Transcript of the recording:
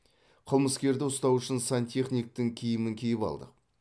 қылмыскерді ұстау үшін сантехниктің киімін киіп алдық